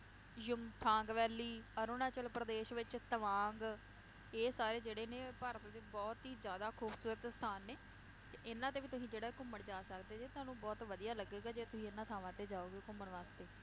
Yumthang valley, Arunachal Pradesh ਵਿਚ ਤਵਾਂਗ, ਇਹ ਸਾਰੇ ਜਿਹੜੇ ਨੇ ਭਾਰਤ ਦੇ ਬਹੁਤ ਹੀ ਜ਼ਿਆਦਾ ਖੂਬਸੂਰਤ ਸਥਾਨ ਨੇ, ਤੇ ਇਹਨਾਂ ਤੇ ਵੀ ਤੁਸੀਂ ਜਿਹੜਾ ਘੁੰਮਣ ਜਾ ਸਕਦੇ ਜੇ ਤੁਹਾਨੂੰ ਬਹੁਤ ਵਧੀਆ ਲਗੇਗਾ ਜੇ ਤੁਹੀ ਇਹਨਾਂ ਥਾਵਾਂ ਤੇ ਜਾਓਗੇ ਘੁੰਮਣ ਵਾਸਤੇ